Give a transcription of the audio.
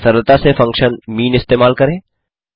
या सरलता से फंक्शन मीन इस्तेमाल करें